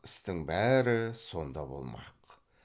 істің бәрі сонда болмақ